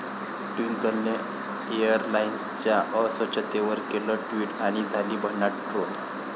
ट्विंकलने एअरलाइन्सच्या अस्वच्छतेवर केलं ट्विट आणि झाली भन्नाट ट्रोल